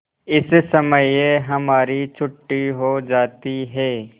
इस समय हमारी छुट्टी हो जाती है